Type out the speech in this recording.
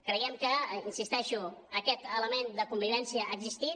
creiem que hi insisteixo aquest element de convivència ha existit